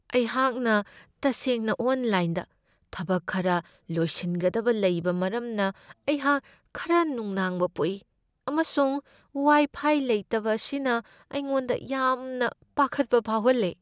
ꯑꯩꯍꯥꯛꯅ ꯇꯁꯦꯡꯅ ꯑꯣꯟꯂꯥꯏꯟꯗ ꯊꯕꯛ ꯈꯔ ꯂꯣꯏꯁꯤꯟꯒꯗꯕ ꯂꯩꯕ ꯃꯔꯝꯅ ꯑꯩꯍꯥꯛ ꯈꯔ ꯅꯨꯡꯅꯥꯡꯕ ꯄꯣꯛꯏ, ꯑꯃꯁꯨꯡ ꯋꯥꯏꯐꯥꯏ ꯂꯩꯇꯕ ꯑꯁꯤꯅ ꯑꯩꯉꯣꯟꯗ ꯌꯥꯝꯅ ꯄꯥꯈꯠꯄ ꯐꯥꯎꯍꯜꯂꯦ꯫